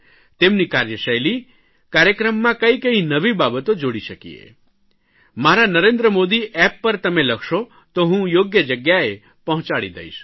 તેમની કાર્યશૈલી કાર્યક્રમમાં કઇ કઇ નવી બાબતો જોડી શકીએ મારા નરેન્દ્ર મોદી એપ્પ પર તમે લખશો તો હું યોગ્ય જગ્યાએ પહોંચાડી દઇશ